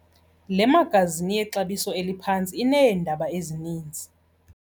Le magazini yexabiso eliphantsi ineendaba ezininzi.